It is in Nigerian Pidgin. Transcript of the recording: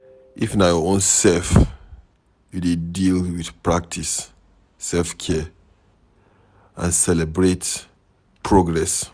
if na your own self you dey deal with, practice selfcare and celebrate progress